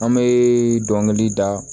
An bɛ dɔnkili da